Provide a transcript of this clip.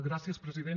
gràcies president